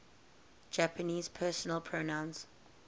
japanese personal pronouns